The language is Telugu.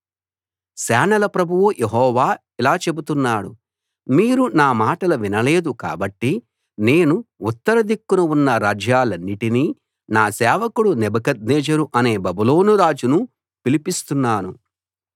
సేనల ప్రభువు యెహోవా ఇలా చెబుతున్నాడు మీరు నా మాటలు వినలేదు కాబట్టి నేను ఉత్తర దిక్కున ఉన్న రాజ్యాలన్నిటినీ నా సేవకుడు నెబుకద్నెజరు అనే బబులోను రాజునూ పిలిపిస్తున్నాను